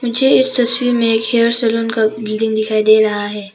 मुझे इस तस्वीर में एक हेयर सैलून का बिल्डिंग दिखाई दे रहा है।